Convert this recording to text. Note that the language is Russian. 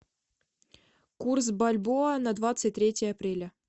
курс бальбоа на двадцать третье апреля